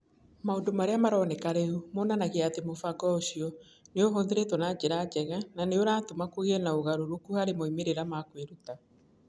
Maũndũ Marĩa Maroneka Rĩu monanagia atĩ mũbango ũcio nĩ ũhũthĩrĩtwo na njĩra njega na nĩ ũratũma kũgĩe na ũgarũrũku harĩ moimĩrĩro ma kwĩruta.